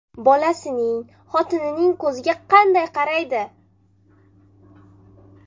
Bolasining, xotinining ko‘ziga qanday qaraydi?